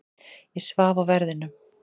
Ég svaf á verðinum.